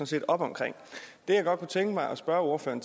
set op om det jeg godt kunne tænke mig at spørge ordføreren